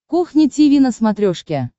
кухня тиви на смотрешке